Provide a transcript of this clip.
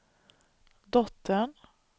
dottern